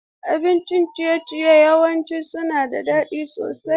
Abincin ciye-ciye yawanci suna da daɗi sosai.